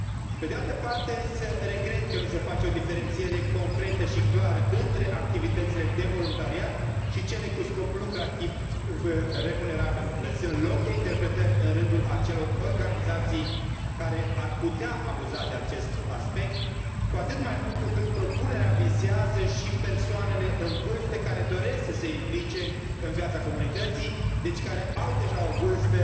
Pe de altă parte, însă, regret că nu se face o diferențiere concretă și clară între activitățile de voluntariat și cele cu scop lucrativ, remunerabil, lăsând loc de interpretări în rândul acelor organizații care ar putea abuza de acest aspect, cu atât mai mult cu cât propunerea vizează și persoanele în vârstă care doresc să se implice în viața comunității, deci care au deja o vârstă